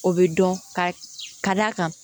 O bɛ dɔn ka d'a kan